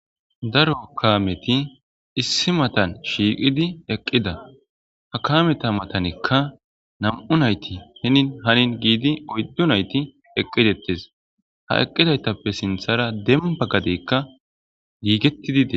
daro kaameti issi matan shiiqidi eqqida ha kameta matanikka nam'u nayti henin hanin giidi oyddu nayti eqqi dettes ha eqqidaytappe sinthara demba gadeykka giigettidi des